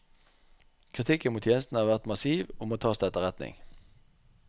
Kritikken mot tjenesten har vært massiv og må tas til etterretning.